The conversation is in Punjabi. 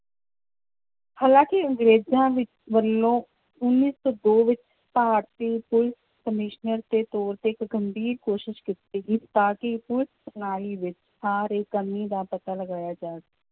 ਹਾਲਾਂਕਿ ਅੰਗਰੇਜ਼ਾਂ ਵਿੱ~ ਵੱਲੋਂ ਉੱਨੀ ਸੌ ਦੋ ਵਿੱਚ ਭਾਰਤੀ ਪੁਲਿਸ ਕਮਿਸ਼ਨਰ ਦੇ ਤੌਰ ਤੇ ਇੱਕ ਗੰਭੀਰ ਕੋਸ਼ਿਸ਼ ਕੀਤੀ ਗਈ ਤਾਂ ਕਿ ਪੁਲਿਸ ਪ੍ਰਣਾਲੀ ਵਿੱਚ ਆ ਰਹੀ ਕਮੀ ਦਾ ਪਤਾ ਲਗਾਇਆ ਜਾ